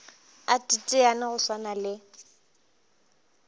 a teteane go swana le